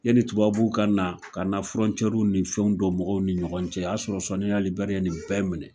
Yeni tubabuw kana, kana w ni fɛnw dɔ mɔgɔw ni ɲɔgɔn cɛ o y'a sɔrɔ Soni Ali Ber ye nin bɛɛ minɛ.